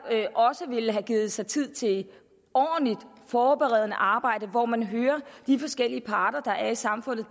også ville have givet sig tid til et ordentligt forberedende arbejde hvor man hører de forskellige parter der er i samfundet